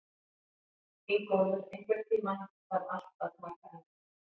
Ingólfur, einhvern tímann þarf allt að taka enda.